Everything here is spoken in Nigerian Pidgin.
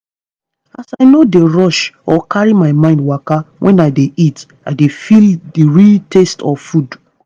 as i no dey rush or carry my mind waka when i dey eat i dey feel the real taste of food.